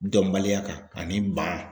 Dɔnbaliya kan ani ban